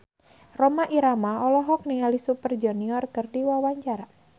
Rhoma Irama olohok ningali Super Junior keur diwawancara